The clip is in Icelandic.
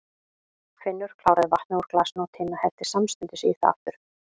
Finnur kláraði vatnið úr glasinu og Tinna hellti samstundis í það aftur.